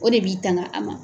O de b'i tanga a ma.